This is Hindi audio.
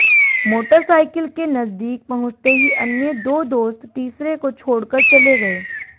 मोटरसाइकिल के नजदीक पहुंचते ही अन्य दो दोस्त तीसरे को छोड़ कर चले गये